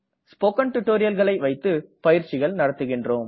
spoken tutorialகளை வைத்து பயிற்சிகள் நடத்துகின்றோம்